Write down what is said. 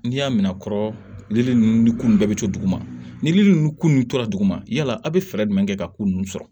N'i y'a minɛ kɔrɔlen nunnu kun bɛɛ bi to duguma nili nunnu kun tora duguma yala aw bɛ fɛɛrɛ jumɛn kɛ ka ko ninnu sɔrɔ